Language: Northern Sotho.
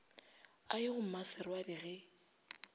a ye go mmaserwadi ge